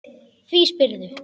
Því spyrðu?